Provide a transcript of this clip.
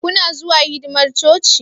Kuna zuwa hidimar coci?